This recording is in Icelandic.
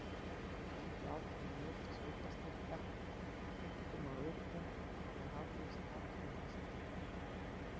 Þau héldu áfram að njóta sveitarstyrkja, einkum á vetrum, þegar árvisst atvinnuleysi var.